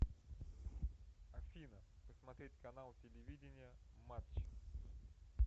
афина посмотреть канал телевидения матч